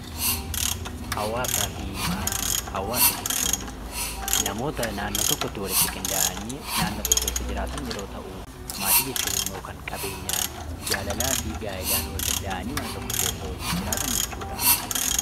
Hawwaasaa fi Maatii: Hawwaasa jechuun namoota nannoo tokkotti walitti qindaa'anii naannoo tokko keessa jiraatan yoo ta’u, maatii jechuun immoo kan qabeenyaan. gaa'elaa fi jaalalaan wal danda’anii mana tokko keessa jiraatan jechuudha.